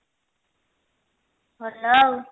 ଭଲ ଆଉ